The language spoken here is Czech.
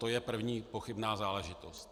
To je první pochybná záležitost.